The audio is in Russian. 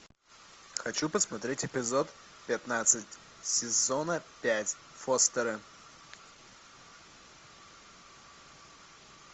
хочу посмотреть эпизод пятнадцать сезона пять фостеры